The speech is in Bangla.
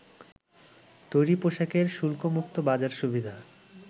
তৈরি পোশাকের শুল্কমুক্ত বাজার সুবিধা